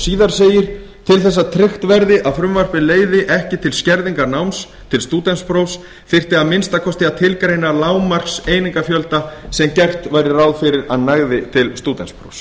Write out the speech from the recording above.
síðar segir til þess að tryggt verði að frumvarpið leiði ekki til skerðingar náms til stúdentsprófs þyrfti að minnsta kosti að tilgreina lágmarkseiningafjölda sem gert væri ráð fyrir að nægði til stúdentsprófs